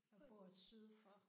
Jeg bor syd for